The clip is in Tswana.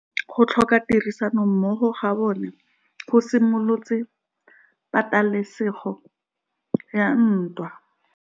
Go tlhoka tirsanommogo ga bone go simolotse patêlêsêgô ya ntwa.